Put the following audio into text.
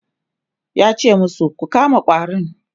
yace masu "Ku kama ƙwarin!"